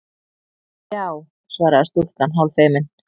Já- svaraði stúlkan hálffeimin.